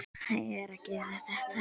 Ég er að gera þetta.